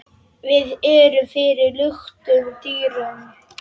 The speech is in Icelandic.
Við erum fyrir luktum dyrum.